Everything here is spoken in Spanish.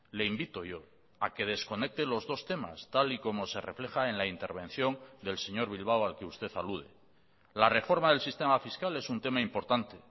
le invito yo a que desconecte los dos temas tal y como se refleja en la intervención del señor bilbao al que usted alude la reforma del sistema fiscal es un tema importante